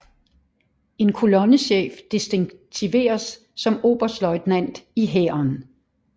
En kolonnechef distinktioneres som oberstløjtnant i Hæren